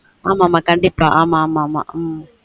ஆமா ஆமா கண்டீப்பா உம்